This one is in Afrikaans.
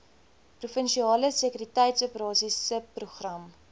provinsiale sekuriteitsoperasies subprogram